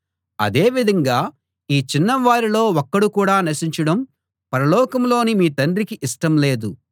అదే విధంగా ఈ చిన్నవారిలో ఒక్కడు కూడా నశించడం పరలోకంలోని మీ తండ్రికి ఇష్టం లేదు